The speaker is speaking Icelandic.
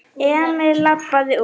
Emil labbaði út.